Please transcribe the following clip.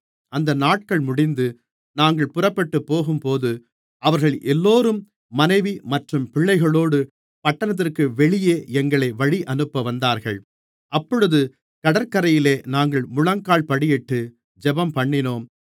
அந்த நாட்கள் முடிந்து நாங்கள் புறப்பட்டுப்போகும்போது அவர்கள் எல்லோரும் மனைவி மற்றும் பிள்ளைகளோடு பட்டணத்திற்கு வெளியே எங்களை வழியனுப்ப வந்தார்கள் அப்பொழுது கடற்கரையிலே நாங்கள் முழங்கால்படியிட்டு ஜெபம்பண்ணினோம்